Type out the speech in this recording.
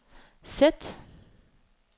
sæt